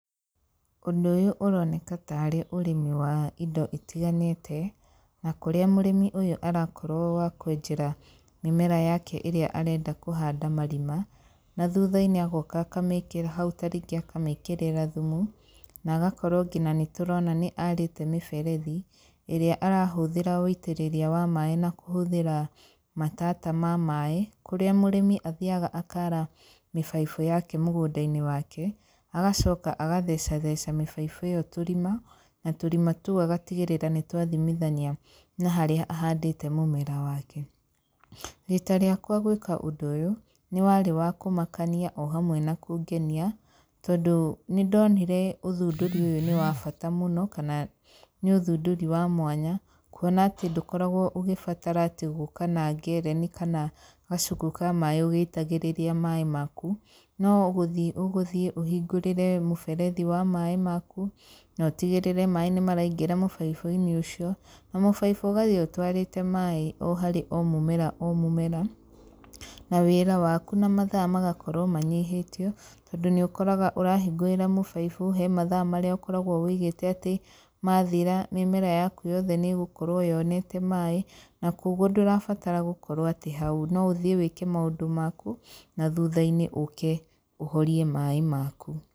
Ũndũ ũyũ ũroneka ta rĩ ũrĩmi wa indo itiganĩte, na kũrĩa mũrĩmi ũyũ arakorwo wa kwenjera mĩmera yake ĩrĩa arenda kũhanda marima, na thutha-inĩ agoka akamĩkĩra hau ta rĩngĩ akamĩkĩrĩra thumu, na agakorwo nginya nĩ tũrona nĩ arĩte mĩberethi, ĩrĩa arahũthĩra wũitĩrĩria wa maĩ na kũhũthĩra matata ma maĩ, kũrĩa mũrĩmi athiaga akara mĩbaibũ yake mũgũnda-inĩ wake, agacoka agathecatheca mĩbaibũ ĩyo tũrima, na tũrima tũu agatigĩrĩra nĩ twathimithania na harĩa ahandĩte mũmera wake. Rita rĩakwa gwĩka ũndũ ũyũ, nĩ warĩ wa kũmakania o hamwe na kũngenia, tondũ nĩ ndonire ũthundũri ũyũ nĩ wa bata mũno, kana nĩ ũthundũri wa mwanya, kuona ndũkoragwo ũgĩbatara atĩ gũka na ngereni kana kacuku ka maĩ ũgĩitagĩrĩria maĩ maku, no gũthiĩ ũgũthiĩ ũhingũrĩre mũberethi wa maĩ maku, notigĩrĩre maĩ nĩ maraingĩra mũbaibũ-inĩ ũcio, na mũbaibũ ũgathiĩ ũtwarĩte maĩ o harĩ o mũmera o mũmera, na wĩra waku na mathaa magakorwo manyihĩtio, tondũ nĩ ũkoraga ũrahingũrĩra mũbaibu, he mathaa marĩa ũkoragwo wũigĩte atĩ mathira mĩmera yaku yothe nĩ ĩgũkorwo yonete maĩ, na koguo ndũrabatara gũkorwo atĩ hau, no ũthiĩ wĩke maũndũ maku, na thutha-inĩ ũke ũhorie maĩ maku.